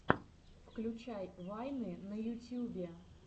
включай вайны на ютьюбе